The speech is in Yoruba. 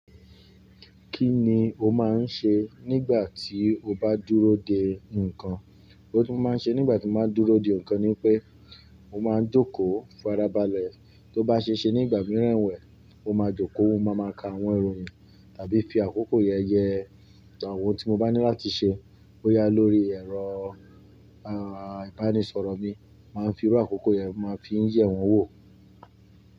Kí ni o máa ń ṣe nígbà tí o bá dúró de nǹkan? Kí ni mo maá n ṣe nígbà tí mo bá n dúró de nǹkan ni wipé mo máa ń jòkòo farabalẹ̀. Tó bá ṣe ṣe nígbà mìíràn ewẹ̀, mo máa jòkòo, mo máa ma ka àwọn ìròyìn tàbí fi àkókò yẹn yẹ àwọn ohun tí mo bá ní láti ṣe. Ó yá lórí ẹ̀rọ, a, ìbánisọ̀rọ̀ mi, màá fi rú àkókò yẹn, màá fi ń yẹ̀ wọn wò.